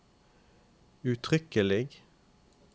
uttrykkelig